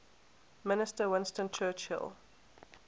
minister winston churchill